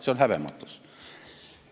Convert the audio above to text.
See on häbematus!